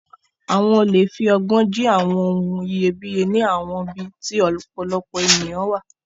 Àwọn olè fi ọgbọ́n jí àwọn ohun iyebíye ní àwọn ibi tí ọ̀pọ̀lọpọ̀ ènìyàn wà.